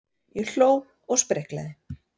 Ég hló og spriklaði.